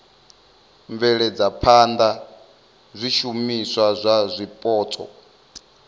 bveledza phana zwishumiswa zwa zwipotso